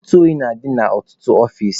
Ntụ oyi na-adị na ọtụtụ ọfici.